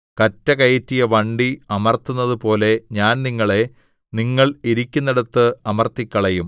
കറ്റ കയറ്റിയ വണ്ടി അമർത്തുന്നതുപോലെ ഞാൻ നിങ്ങളെ നിങ്ങൾ ഇരിക്കുന്നിടത്ത് അമർത്തിക്കളയും